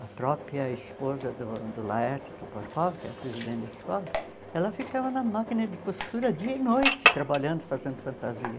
A própria esposa do do Laerte Toporkov, que era presidente da escola, ela ficava na máquina de costura dia e noite, trabalhando, fazendo fantasia.